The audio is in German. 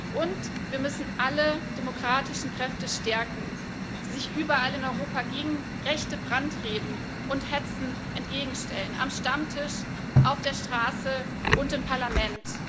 Und wir müssen alle demokratischen Kräfte stärken, die sich überall in Europa rechten Brandreden und Hetze entgegenstellen am Stammtisch, auf der Straße und im Parlament.